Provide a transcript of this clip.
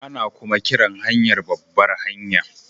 Ana kuma kiran hanyar babbar hanya